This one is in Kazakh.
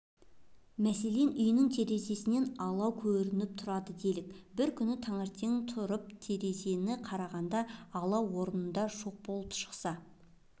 мәселен үйіңнің терезесінен алатау көрініп тұрады дейік бір күн таңертең тұрып терезеден қарағанда алатау орнында жоқ болып шықса